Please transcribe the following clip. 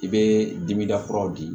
I bɛ dimida kuraw di